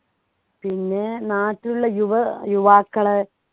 പിന്നെ നാട്ടിലുള്ള യുവ ഏർ യുവാക്കൾ